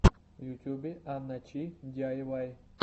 в ютюбе анна чи диайвай